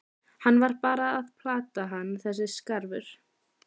Hann var bara að plata hann þessi skarfur.